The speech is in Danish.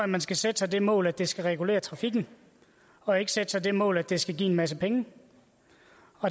man skal sætte sig det mål at det skal regulere trafikken og ikke sætte sig det mål at det skal give en masse penge